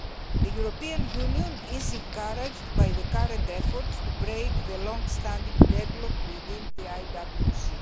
The European Union is encouraged by the current efforts to break the long standing deadlock within the IWC.